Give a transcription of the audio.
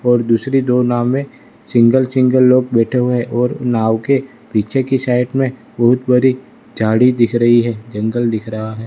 और दूसरी दो नावे सिंगल सिंगल लोग बैठे हुए और नाव के पीछे की साइड में बहोत बड़ी झाड़ी दिख रही है जंगल दिख रहा है।